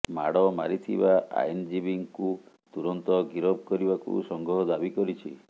ମାଡ ମାରିଥିବା ଆଇନଜୀବୀଙ୍କୁ ତୁରନ୍ତ ଗିରଫ କରିବାକୁ ସଂଘ ଦାବି କରିଛି